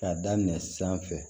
K'a daminɛ sanfɛ